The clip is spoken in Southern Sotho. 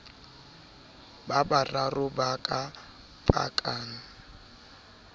ba bararo ba ka pakang